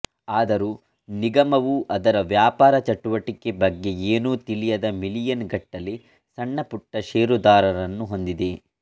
ಆದರೂ ನಿಗಮವು ಅದರ ವ್ಯಾಪಾರ ಚಟುವಟಿಕೆ ಬಗ್ಗೆ ಏನೂ ತಿಳಿಯದ ಮಿಲಿಯನ್ ಗಟ್ಟಲೆ ಸಣ್ಣ ಪುಟ್ಟ ಷೇರುದಾರರನ್ನು ಹೊಂದಿದೆ